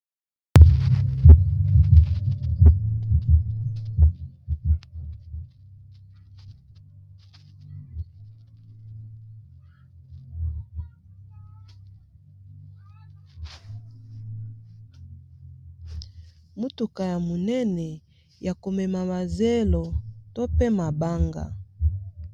motuka ya monene ya komema mazelo tope mabanga